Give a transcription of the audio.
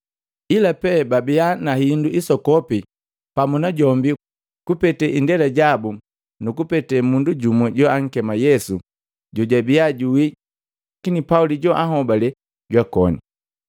Ila pe babia na hindu isokopi pamu najombi kupete Indela jabu nu kupete mundu jumu joankema Yesu jojabia juwii, lakini Pauli juahobale jwakoni.